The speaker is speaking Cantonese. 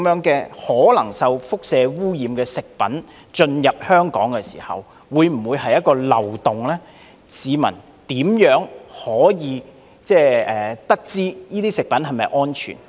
這些可能受輻射污染的食品如果能因此進口香港，會否是一個漏洞呢？市民怎樣得知這些食品是否安全？